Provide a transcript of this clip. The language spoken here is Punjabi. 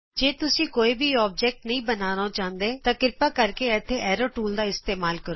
ਜੇ ਤੁਸੀਂ ਕੋਈ ਵੀ ਅਕਾਰ ਨਹੀਂ ਬਣਾਉਣਾ ਚਾਹੁੰਦੇ ਤਾਂ ਕ੍ਰਿਪਾ ਕਰਕੇ ਇਥੇ ਐਰੋ ਟੂਲ ਦਾ ਇਸਤੇਮਾਲ ਕਰੋ